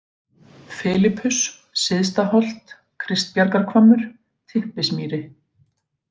Filipus, Syðstaholt, Kristbjargarhvammur, Typpismýri